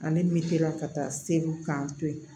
ka taa segu k'an to yen